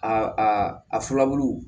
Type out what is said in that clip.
Aa a filabulu